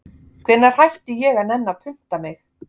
Hvenær hætti ég að nenna að punta mig